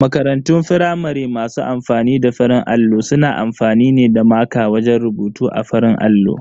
Makarantun firamare masu amfani da farin allo suna amfani ne da maƙa wajen rubutu a farin allon.